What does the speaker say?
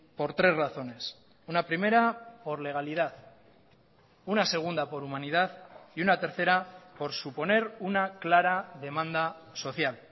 por tres razones una primera por legalidad una segunda por humanidad y una tercera por suponer una clara demanda social